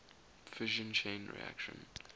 fission chain reaction